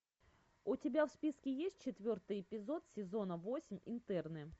у тебя в списке есть четвертый эпизод сезона восемь интерны